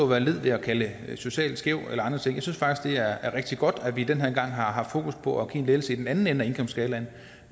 være led ved at kalde socialt skævt eller andre ting jeg synes faktisk at er rigtig godt at vi den her gang har haft fokus på at give en lettelse i den anden ende af indkomstskalaen